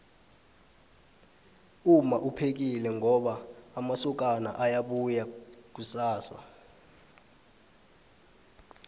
umma uphekile ngoba amasokana ayabuya kusasa